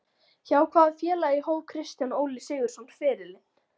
Hjá hvaða félagi hóf Kristján Óli Sigurðsson ferilinn?